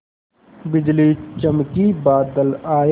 बिजली चमकी बादल आए